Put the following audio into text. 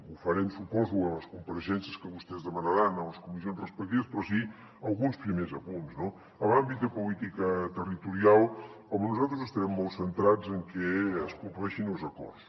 ho farem suposo en les compareixences que vostès demanaran a les comissions respectives però sí alguns primers apunts no en l’àmbit de política territorial nosaltres estarem molt centrats en que es compleixin els acords